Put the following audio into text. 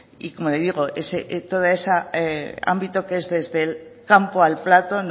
y como le digo todo ese ámbito que es desde el campo al plato